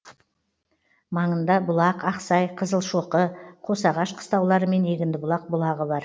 маңында бұлақ ақсай қызылшоқы қосағаш қыстаулары мен егіндібұлақ бұлағы бар